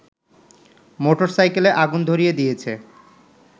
মোটরসাইকেলে আগুন ধরিয়ে দিয়েছে